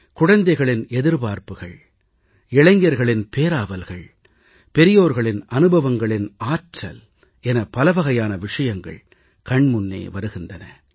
குழந்தைகளின் எதிர்பார்ப்புக்களும் இளைஞர்களின் பேராவல்கள் பெரியோர்களின் அனுபவங்களின் ஆற்றல் என பலவகையான விஷயங்கள் கண்முன்னே வருகின்றது